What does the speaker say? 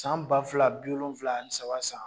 San ba fila bi wolonwula ani saba san